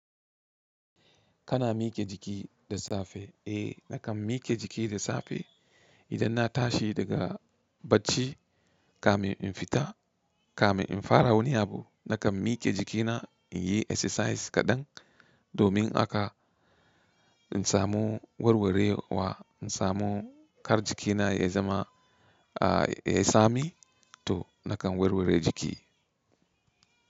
Kana mike jiki da safe? Eh nakan mike jiki da safe idan na tashi daga bacci kamin in fita, kamin in fara wani abu nakan mike jikina in yi exercise kaɗan domin haka in samu warwarewa, in samu kar jikina ya zama, ya yi tsami to nakan warware jiki.